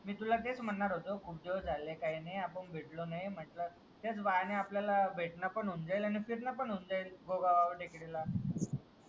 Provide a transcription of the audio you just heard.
मी तुला तेच म्हणारं होतो किती दिवस झाले काही नाही आपण भेटलो नाही म्हंटल तेच बहाणे आपल्याला भेटणं पण होऊन जाईल आणीन फिरणं पण होऊन जाइल गोगाव टेकडीला